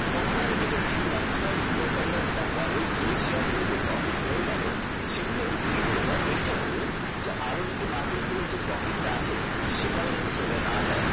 তখন আমি দেখেছি maximum বিনিয়োগকারীরা যেটা করে যে শেয়ার গুলিতে profit রয়ে গেল সেগুলো বিক্রি করে দেয় এইটা ভেবে যে আরো যে market করে profit টা আছে সেটা যাতে না চলে যায়